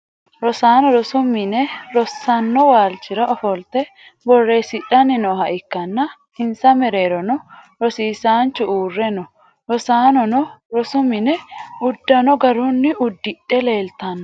Rosaano rosu minne rosanno waalchira ofolte booreesidhanni nooha ikanna insa mereerono rosiisaanchu uure no rosaanono rosu mine udano garunni udidhe leeltano.